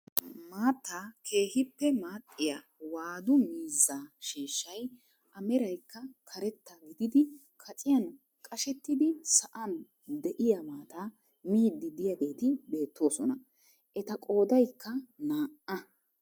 Maattaa keehippe maaxxiyaa waadu miizzaa sheeshshay a meraykka karetta gididi kaciyaan qashettidi sa'an de'iyaa maataa miidi de'iyaageti beettoosona. Eta qoodaykka naa"a.